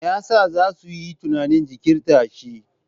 Me yasa za su yi tunanin jinkirta shi?